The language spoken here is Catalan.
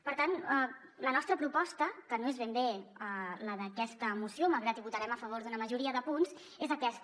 per tant la nostra proposta que no és ben bé la d’aquesta moció malgrat que votarem a favor una majoria de punts és aquesta